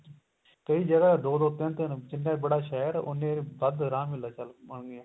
ਕਈ ਜਗ੍ਹਾ ਦੋ ਦੋ ਤਿੰਨ ਤਿੰਨ ਜਿੰਨਾ ਬੜਾ ਸ਼ਹਿਰ ਉੰਨੇ ਵੱਧ ਰੰਗ ਹੋਣਗੇ